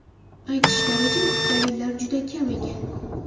Aytishlaricha, dalillar juda kam ekan.